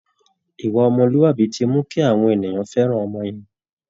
Ìwà ọmọlúàbí ti mú kí àwọn ènìyàn fẹ́ràn ọmọ yẹn